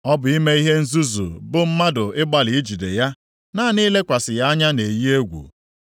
Ọ bụ ime ihe nzuzu bụ mmadụ ịgbalị ijide ya. Naanị ilekwasị ya anya na-eyi egwu.